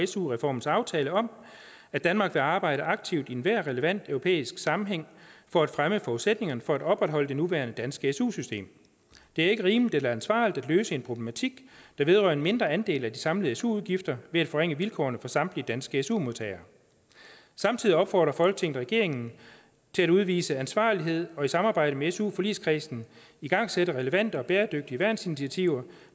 su reformens aftale om at danmark vil arbejde aktivt i enhver relevant europæisk sammenhæng for at fremme forudsætningerne for at opretholde det nuværende danske su system det er ikke rimeligt eller ansvarligt at løse en problematik der vedrører en mindre andel af de samlede su udgifter ved at forringe vilkårene for samtlige danske su modtagere samtidig opfordrer folketinget regeringen til at udvise ansvarlighed og i samarbejde med su forligskredsen at igangsætte relevante og bæredygtige værnsinitiativer